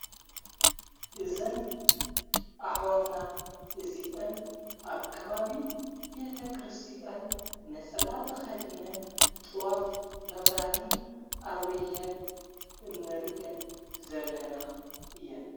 እዘን ኣኅዋትና እዚን ኣብ ከባቢ ቤተ ክርስቲያን ነጸላት ተኸዲነን ጥዋፍ መብራቲ ኣብሪሔን እነርየን ዘለና እየን።